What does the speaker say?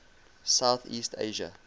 south east asia